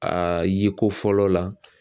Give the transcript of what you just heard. Aa yeko fɔlɔ la